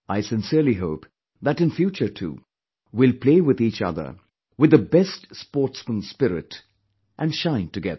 I sincerely hope, that in future too, we'll play with each other with the best sportsman spirit & shine together